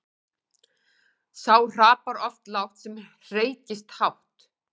Sá hrapar oft lágt sem hreykist hátt.